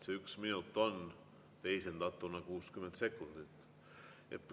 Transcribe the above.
See 1 minut on teisendatuna 60 sekundit.